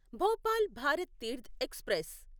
Bhopal Bharat Tirth express